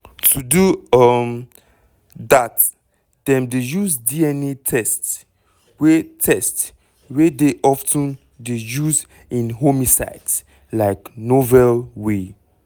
to do um dat dem dey use dna test wey test wey dey of ten dey use in homicides like novel way.